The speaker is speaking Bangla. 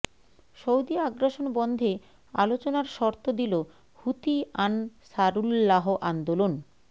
সৌদি আগ্রাসন বন্ধে আলোচনার শর্ত দিল হুথি আনসারুল্লাহ আন্দোলন